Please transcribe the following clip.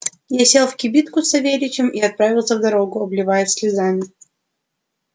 я сел в кибитку с савельичем и отправился в дорогу обливаясь слезами